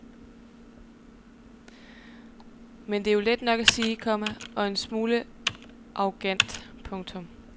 Men det er jo let nok at sige, komma og en smule arrogant. punktum